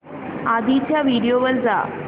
आधीच्या व्हिडिओ वर जा